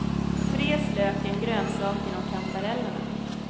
Fräs löken, grönsakerna och kantarellerna.